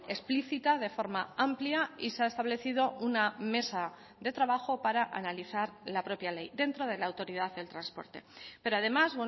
explícita de forma amplia y se ha establecido una mesa de trabajo para analizar la propia ley dentro de la autoridad del transporte pero además